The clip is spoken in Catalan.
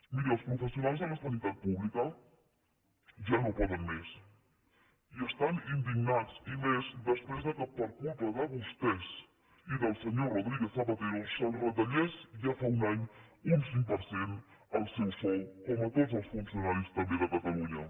miri els professionals de la sanitat pública ja no poden més i estan indignats i més després que per culpa de vostès i del senyor rodríguez zapatero se’ls retallés ja fa un any un cinc per cent el seu sou com a tots els funcionaris també de catalunya